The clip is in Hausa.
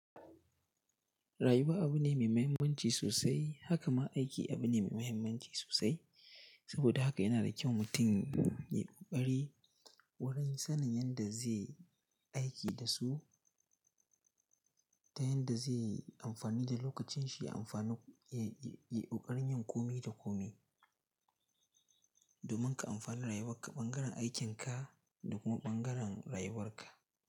Rayuwa abu ne mai mahimmanci sosai. Haka ma aiki abu ne mai mahimmanci sosai. Saboda haka yana da kyau mutum yayi ƙoƙari wurin sanin yadda zai aiki da su, ta yanda zai yi amfani da lokacinshi, ya yi ƙoƙarin yin komai da komai domin ka amfani rayuwarka, ɓangaren aikinka da kuma ɓangaren rayuwarka.